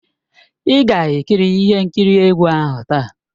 Ị ga-ekiri ihe nkiri egwu ahụ taa!